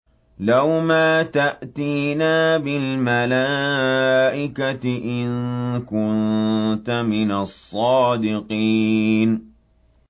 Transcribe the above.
لَّوْ مَا تَأْتِينَا بِالْمَلَائِكَةِ إِن كُنتَ مِنَ الصَّادِقِينَ